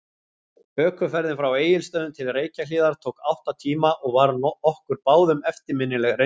Ökuferðin frá Egilsstöðum til Reykjahlíðar tók átta tíma og var okkur báðum eftirminnileg reynsla.